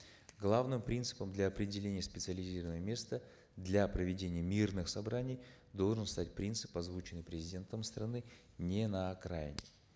главным принципом для определения специализированного места для проведения мирных собраний должен стать принцип озвученный президентом страны не на окраине